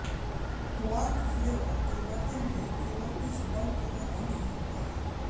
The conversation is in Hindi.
क्वार्क फ्लेवर परिवर्तन भी केवल इस बल के अधीन ही होता है